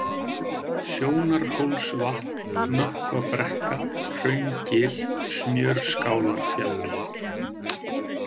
Sjónarhólsvatn, Nökkvabrekka, Hraungil, Smjörskálarfjall